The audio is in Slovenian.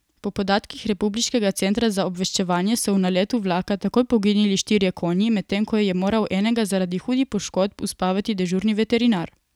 Po podatkih republiškega centra za obveščanje so v naletu vlaka takoj poginili štirje konji, medtem ko je moral enega zaradi hudih poškodb uspavati dežurni veterinar.